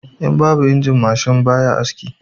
In babu injin mashin baya aiki